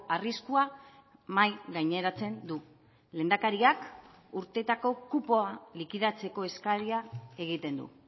arriskua mahai gaineratzen du lehendakariak urteetako kupoa likidatzeko eskaria egiten du